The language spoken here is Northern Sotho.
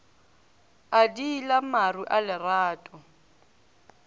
a diila maru a lerato